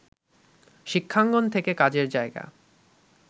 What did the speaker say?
শিক্ষাঙ্গন থেকে কাজের জায়গা